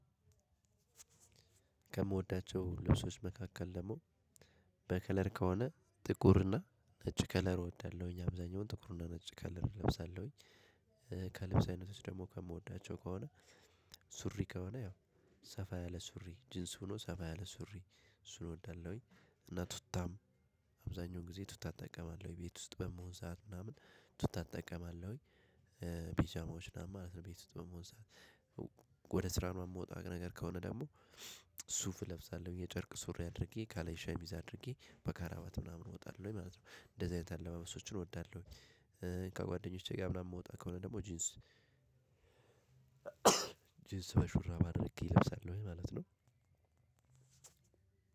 ከምወዳቸው ልብሶች መካከል ደግሞ በከለር ከሆነ ጥቁርና ነጭ ከለር እወዳለሁኝ አብዛኛውን ጥቁር እና ነጭ ከለር እለብሳለሁኝ። ከልብስ አይነቶች ደግሞ ከምወዳቸው ከሆነ። ሱሪ ከሆነ ያው ሰፋ ያለ ሱሪ ጂንስ ሆኖ ሰፋ ያለ ሱሪ እሱን እወዳለሁኝ። እና ቱታም አብዛኛው ጊዜ ቱታ እጠቀማለሁኝ ቤት ውስጥ በምሆን ሰዓት ምናምን ቱታ እጠቀማለሁኝ። ቢጃማዎች ማለት ነው ቤት ውስጥ በመሆን ሰዓት። ወደ ስራ የምወጣት ነገር ከሆነ ደግሞ ሱፍ እለብሳለሁ የጨርቅ ሱሪ አድርጌ ካለኝ ሻሚዝ አድርጌ በከረባት ምናምን እወጣለሁ ወይ ማለት ነው እንደዚህ አይነት አለባበሶችን እወዳለሁ። ከጓደኞቼ ጋር ምናምን የምወጣ ከሆነ ደግሞ ጂንስ ጅንስ በሹራብ አድርጌ እለብሳለሁኝ ማለት ነው።